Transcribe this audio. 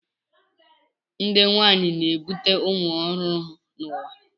Ndị nwanyị na-ebute ụmụ ọhụrụ n'ụwa